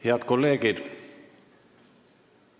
Head kolleegid!